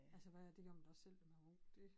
Altså hvad det gjorde man da også selv da man var ung dét